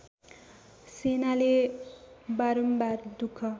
सेनाले बारम्बार दुख